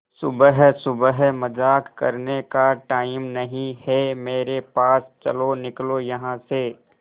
सुबह सुबह मजाक करने का टाइम नहीं है मेरे पास चलो निकलो यहां से